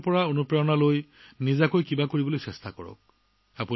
তেওঁলোকৰ পৰা প্ৰেৰণা লওক নিজে কিবা এটা কৰিবলৈ চেষ্টা কৰক